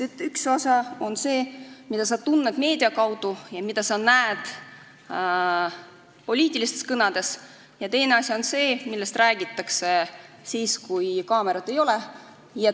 Üks asi on see, mida sa näed ja kuuled meedia kaudu ja poliitilistes kõnedes, ning teine asi on see, millest räägitakse siis, kui kaameraid ei ole.